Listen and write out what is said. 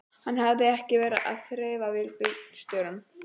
Hann hafði verið að þrefa við bílstjórana.